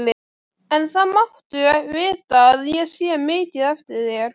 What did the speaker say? En það máttu vita að ég sé mikið eftir þér.